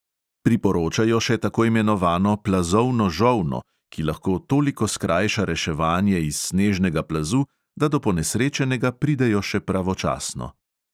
Priporočajo še tako imenovano plazovno žolno, ki lahko toliko skrajša reševanje iz snežnega plazu, da do ponesrečenega pridejo še pravočasno.